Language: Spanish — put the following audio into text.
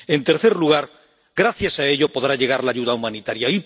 En tercer lugar, gracias a ello podrá llegar la ayuda humanitaria.